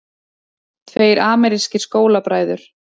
Tveir amerískir skólabræður